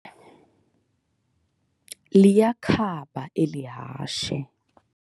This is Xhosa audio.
Liyakhaba elihashe